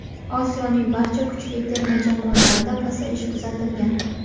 Osiyoning barcha kuchli terma jamoalarida pasayish kuzatilgan.